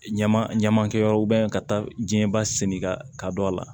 Ɲama ɲamakɛyɔrɔ ka taa jɛnba sen kan ka don a la